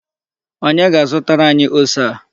Onye ga-azụtara anyi ose a?